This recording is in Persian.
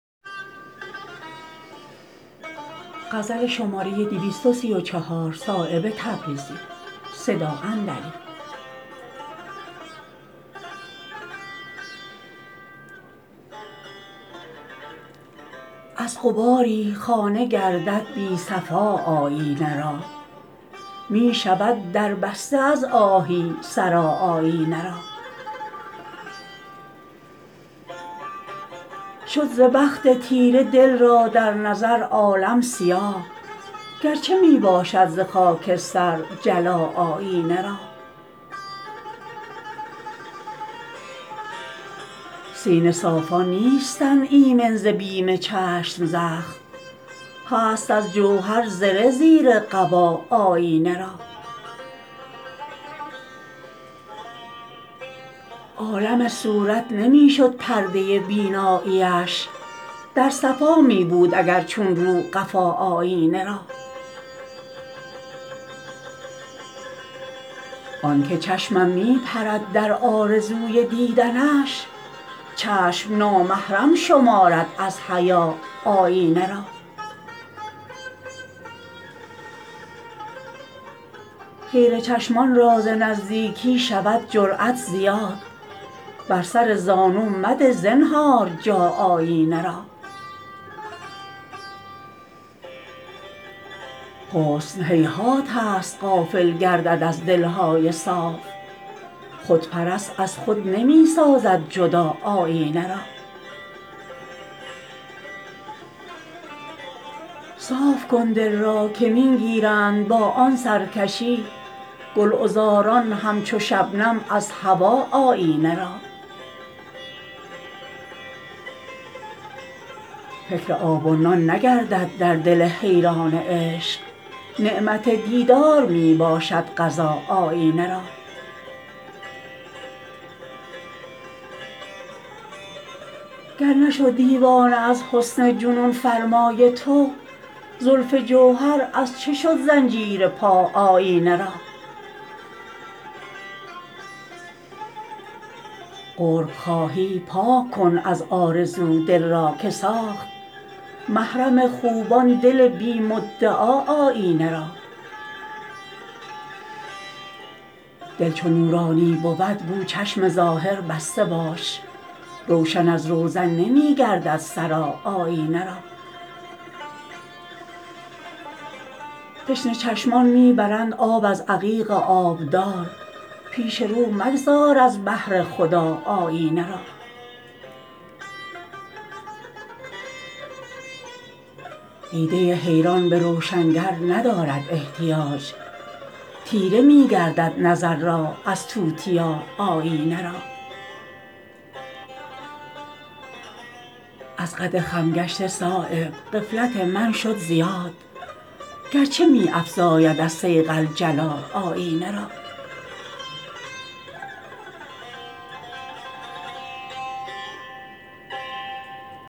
از غباری خانه گردد بی صفا آیینه را می شود دربسته از آهی سرا آیینه را شد ز بخت تیره دل را در نظر عالم سیاه گرچه می باشد ز خاکستر جلا آیینه را سینه صافان نیستند ایمن ز بیم چشم زخم هست از جوهر زره زیر قبا آیینه را عالم صورت نمی شد پرده بینایی اش در صفا می بود اگر چون رو قفا آیینه را آن که چشمم می پرد در آرزوی دیدنش چشم نامحرم شمارد از حیا آیینه را خیره چشمان را ز نزدیکی شود جرأت زیاد بر سر زانو مده زنهار جا آیینه را حسن هیهات است غافل گردد از دلهای صاف خودپرست از خود نمی سازد جدا آیینه را صاف کن دل را که می گیرند با آن سرکشی گلعذاران همچو شبنم از هوا آیینه را فکر آب و نان نگردد در دل حیران عشق نعمت دیدار می باشد غذا آیینه را گر نشد دیوانه از حسن جنون فرمای تو زلف جوهر از چه شد زنجیرپا آیینه را قرب خواهی پاک کن از آرزو دل را که ساخت محرم خوبان دل بی مدعا آیینه را دل چو نورانی بود گو چشم ظاهر بسته باش روشن از روزن نمی گردد سرا آیینه را تشنه چشمان می برند آب از عقیق آبدار پیش رو مگذار از بهر خدا آیینه را دیده حیران به روشنگر ندارد احتیاج تیره می گردد نظر از توتیا آیینه را از قد خم گشته صایب غفلت من شد زیاد گرچه می افزاید از صیقل جلا آیینه را